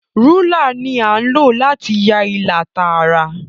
Rúlà ní a lo láti yá ìlà Tààrà.